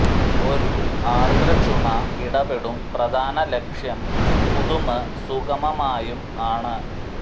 ഒരു ആർദ്ര ചുമ ഇടപെടും പ്രധാന ലക്ഷ്യം സ്പുതുമ് സുഗമമായും ആണ്